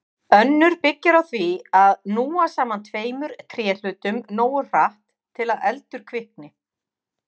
Önnur byggir á því að núa saman tveimur tréhlutum nógu hratt til að eldur kvikni.